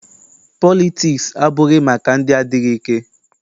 Politiks abụghị maka ndị adịghị ike.